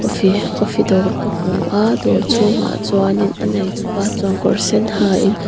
coffee dawr ka hmua dawr chhungah chuan a neitupa chuan kawr sen ha in.